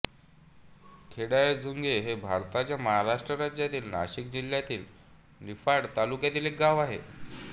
खेडाळेझुंगे हे भारताच्या महाराष्ट्र राज्यातील नाशिक जिल्ह्यातील निफाड तालुक्यातील एक गाव आहे